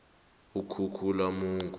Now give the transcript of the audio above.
ukhukhulamungu